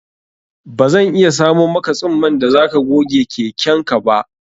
Bazan iya samo maka tsumman da zaka goge keken ka ba